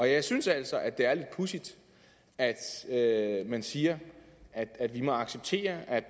jeg synes altså at det er lidt pudsigt at man siger at vi må acceptere at